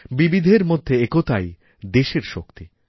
বিবিধের মধ্যে একতাই দেশেরশক্তি